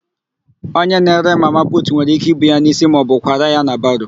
Onye na-ere mama putu nwere íké ibu ya n'ísí maọbụ kwara ya na baro.